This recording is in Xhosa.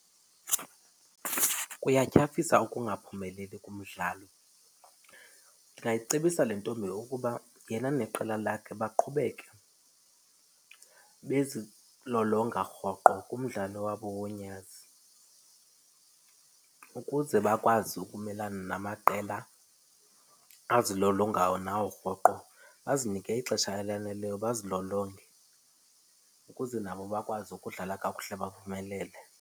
Kuyatyhafisa ukungaphumeleli kumdlalo. Ndingayicebisa le ntombi ukuba yena neqela lakhe baqhubeke bezilolonga rhoqo kumdlalo wabo wonyazi ukuze bakwazi ukumelana namaqela azilolongayo nawo rhoqo. Bazinike ixesha elaneleyo bazilolonge ukuze nabo bakwazi ukudlala kakuhle baphumele.